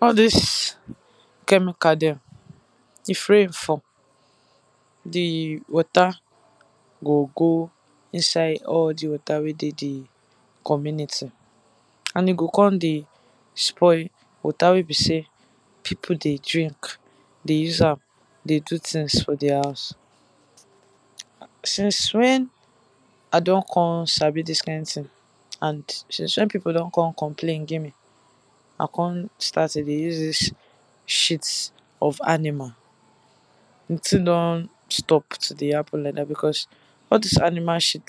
All dis chemical dem, if rain fall di water go go inside all di water wey dey di community and e go come dey spoil water wey be sey people dem dey drink, dey use am dey do things dem for their house. Since wen I don come sabi dis kind thing and since wen people don come complain give me, I come start to dey use dis shit of animal, di thing don stop to dey happen like dat, because all dis animal shit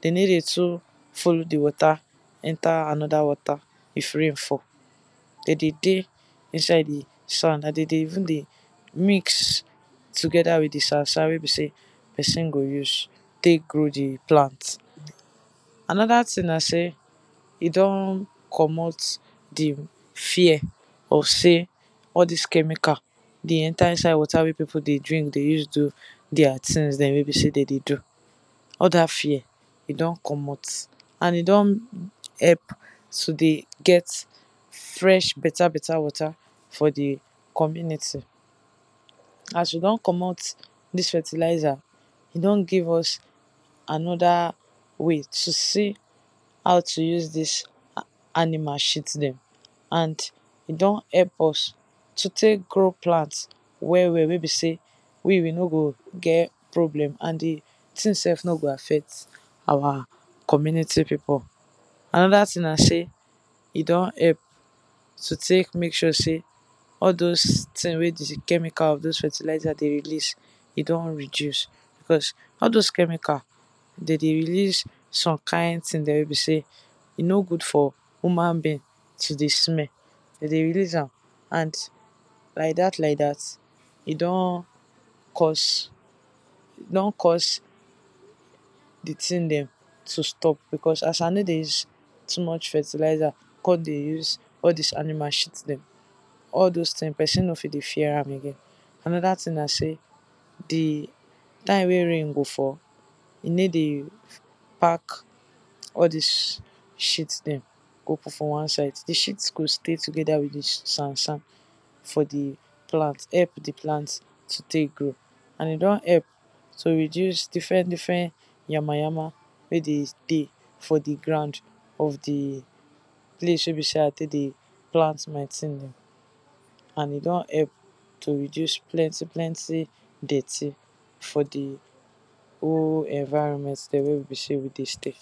dem no dey too like to dey follow di water enter another water if rain fall, dem dey dey inside di sand and dem dey even dey mix together with di sand sand wey be sey person go use, take grow di plant. Another thing na sey e don komot di fear of sey all dis chemical dey enter di water wey people go dey drink dey use take do their thing dem, wey be sey dem dey do, all dat fear e don komot and e don help to dey get fresh better better water for di community, as we don komot dis fertilizer e don give us another way to see how to use dis animal shit dem and e don help us to take grow plant well well wey be sey, we sef we no go get problem and di thing sef no go affect our community people, another na sey e don help to take make sure sey all doz thing na wey all doz chemical with fertilizer dey release e don reduce but all doz chemical dem dey release some kind thing wey be sey e no good for human being to dey smell, dem dey release am, and like dat like dat, e don cause e don cause, di thong dem to stop because as I no dey use too much fertilizer, come dey use all dis animal shit dem, all doz things person no dey fear am again. Another thing na sey di time wey rain go fall, e no dey pack all dis shit dem, go for one side, di shit dem go stay together with di sand sand, for di plant help di plant to take grow, and e don help to reduce different different yama yama, wey dey dey for di ground of di place wey be sey I dey plant my thing. And e don help to reduce plenty plenty dirty for di whole environment dem wey be sey we stay.